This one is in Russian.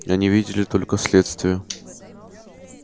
они видели только следствия